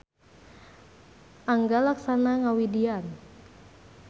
Angga Laksana ngawidian.